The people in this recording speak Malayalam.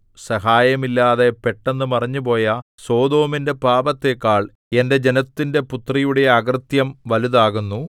സഹായമില്ലാതെ പെട്ടെന്ന് മറിഞ്ഞുപോയ സൊദോമിന്റെ പാപത്തേക്കാൾ എന്റെ ജനത്തിന്റെ പുത്രിയുടെ അകൃത്യം വലുതാകുന്നു